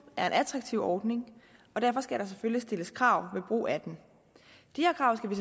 er en attraktiv ordning og derfor skal der selvfølgelig stilles krav ved brug af den de her krav skal vi